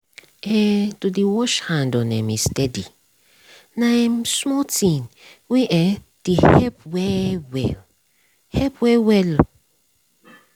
eh to dey wash hand on um a steady nah um small thing wey um dey help well well. help well well.